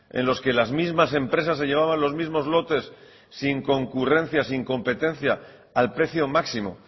en los que las mismas empresas se llevaban los mismos lotes sin concurrencia sin competencia al precio máximo